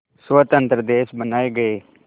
स्वतंत्र देश बनाए गए